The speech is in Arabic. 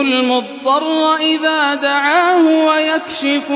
الْمُضْطَرَّ إِذَا دَعَاهُ وَيَكْشِفُ